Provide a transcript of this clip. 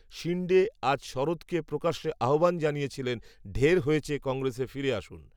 শিণ্ডে, আজ, শরদকে, প্রকাশ্য আহ্বান জানিয়েছিলেন, ঢের হয়েছে, কংগ্রেসে ফিরে আসুন